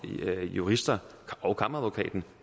jurister og kammeradvokaten